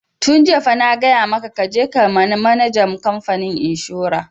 Tun jiya fa na gaya maka ka je ka ga manajan kamfanin inshora!